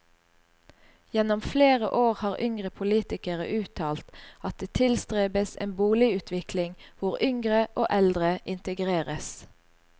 Gjennom flere år har yngre politikere uttalt at det tilstrebes en boligutvikling hvor yngre og eldre integreres.